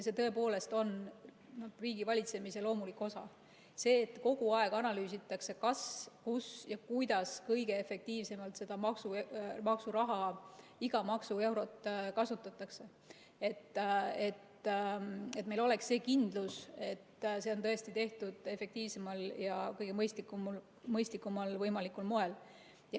See tõepoolest on riigivalitsemise loomulik osa, see, et kogu aeg analüüsitakse, kas, kus ja kuidas kõige efektiivsemalt seda maksuraha, iga maksueurot kasutatakse, et meil oleks kindlus, et see on tõesti tehtud efektiivsel ja kõige mõistlikumal moel.